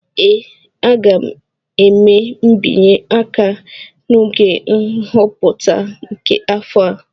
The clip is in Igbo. Ee, m ga-eme mbinye aka n'oge nhọpụta nke afọ a